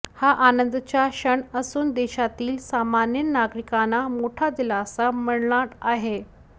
हा आनंदाचा क्षण असून देशातील सामान्य नागरिकांना मोठा दिलासा मिळणार आहे